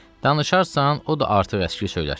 Danışarsan, o da artıq əski söylər.